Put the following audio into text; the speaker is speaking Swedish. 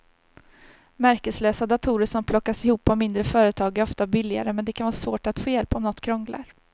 Märkeslösa datorer som plockas ihop av mindre företag är ofta billigare men det kan vara svårt att få hjälp om något krånglar.